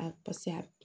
A paseke a